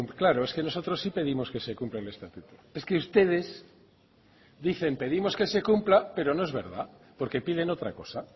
claro es que nosotros sí pedimos que se cumpla el estatuto es que ustedes dicen pedimos que se cumpla pero no es verdad porque piden otra cosa